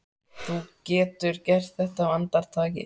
Þú getur gert þetta á andartaki.